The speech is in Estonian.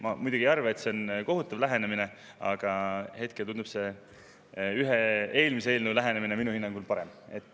Ma muidugi ei arva, et see on kohutav lähenemine, aga hetkel tundub see eelmise eelnõu lähenemine minu hinnangul parem.